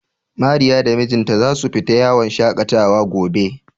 Mariya da mijinta za su fita yawon shaƙatawa gobe.